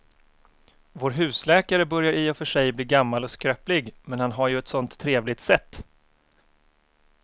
Vår husläkare börjar i och för sig bli gammal och skröplig, men han har ju ett sådant trevligt sätt!